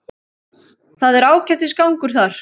Það er ágætis gangur þar.